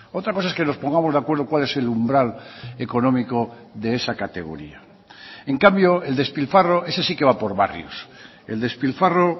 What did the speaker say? otra cosa es que nos pongamos de acuerdo cual es el umbral económico de esa categoría en cambio el despilfarro ese sí que va por barrios el despilfarro